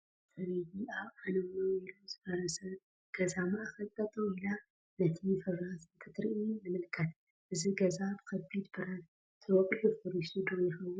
ሰበይቲ ኣብ ዓነውነው ኢሉ ዝፈራረሰ ገዛ ማእኽል ጠጠው ኢላ ነቲ ፍራስ እንትትርኡ ንምልከት፡፡ እዚ ገዛ ብከቢድ ብረት ተወቂዑ ፈሪሱ ዶ ይኸውን?